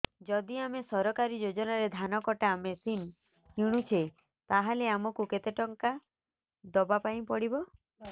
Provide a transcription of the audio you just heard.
ଯଦି ଆମେ ସରକାରୀ ଯୋଜନାରେ ଧାନ କଟା ମେସିନ୍ କିଣୁଛେ ତାହାଲେ ଆମକୁ କେତେ ଟଙ୍କା ଦବାପାଇଁ ପଡିବ